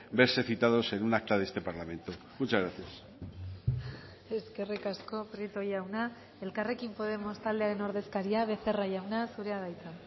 verse citados en un acta de este parlamento muchas gracias eskerrik asko prieto jauna elkarrekin podemos taldearen ordezkaria becerra jauna zurea da hitza